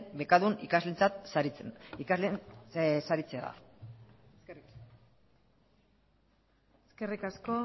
bekadun ikasleen saritzea da eskerrik asko eskerrik asko